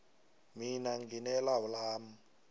mina ngine lawu lami